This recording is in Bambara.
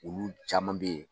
Ulu caman bɛ ye.